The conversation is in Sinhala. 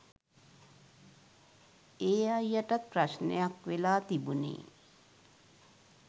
ඒ අයියටත් ප්‍රශ්නයක් වෙලා තිබුණේ